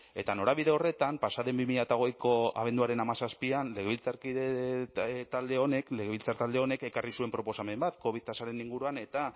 eta norabide horretan pasa den bi mila hogeiko abenduaren hamazazpian legebiltzar talde honek ekarri zuen proposamen bat covid tasaren inguruan eta